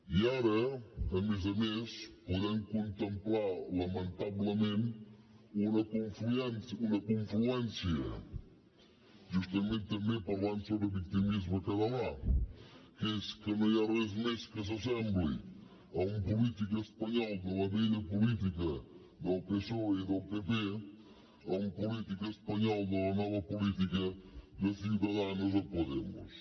i ara a més a més podem contemplar lamentablement una confluència justament també parlant sobre victimisme català que és que no hi ha res més que s’assembli a un polític espanyol de la vella política del psoe i del pp a un polític espanyol de la nova política de ciudadanos o de podemos